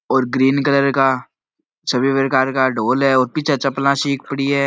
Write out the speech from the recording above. और green colour का सभी प्रकार का ढोल है और पीछे चप्पला सी पड़ी है।